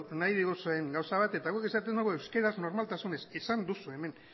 nahi diguzuen gauza bat eta guk esaten dugu euskeraz normaltasunez esan duzu hemen